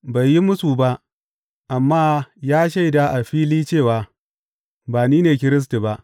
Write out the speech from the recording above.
Bai yi mūsu ba, amma ya shaida a fili cewa, Ba ni ne Kiristi ba.